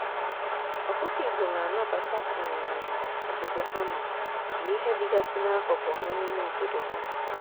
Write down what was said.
ọkụkọ igbo na anabata um obodo ha nọ na ihe dịgasị n'akụkụ ha n'ime obodo ha.